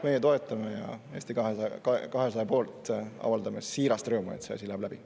Meie seda toetame ja Eesti 200 poolt avaldan siirast rõõmu, et see asi läheb läbi.